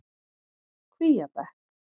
Kvíabekk